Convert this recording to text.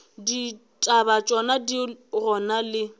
ditaba tšona di gona le